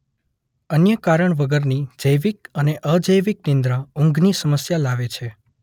અન્ય કારણ વગરની જૈવિક અને અજૈવિક અનિદ્રા ઊંઘની સમસ્યા લાવે છે